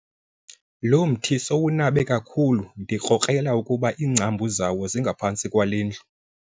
Lo mthi sowunabe kakhulu ndikrokrela ukuba iingcambu zawo zingaphantsi kwale ndlu.